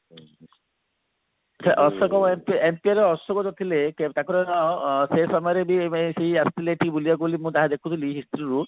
ସେ ଅଶୋକ ଅଶୋକ ଯୋଉ ଥିଲେ ତାଙ୍କର ଅ ଅ ସେଇ ସମୟରେ ବି ମାନେ ସେ ଆସିଥିଲେ ଏଠିକି ବୁଲିବାକୁ ମୁଁ ଯାହା ଦେଖୁଥିଲି history ରେ